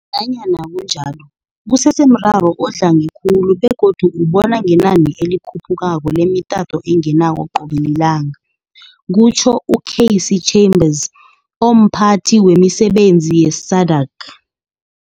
Nanyana kunjalo, kusesemraro odlange khulu begodu ubona ngenani elikhu phukako lemitato engenako qobe lilanga, kutjho u Cassey Chambers, omPhathi wemiSebenzi ye-SADAG.